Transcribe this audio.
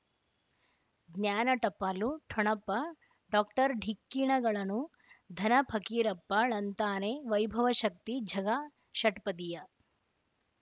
ಜ್ಞಾನ ಟಪಾಲು ಠೊಣಪ ಡಾಕ್ಟರ್ ಢಿಕ್ಕಿ ಣಗಳನು ಧನ ಫಕೀರಪ್ಪ ಳಂತಾನೆ ವೈಭವ್ ಶಕ್ತಿ ಝಗಾ ಷಟ್ಪದಿಯ